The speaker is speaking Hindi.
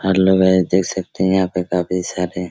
लोग है देख सकते हैं यहाँ पे काफी सारे --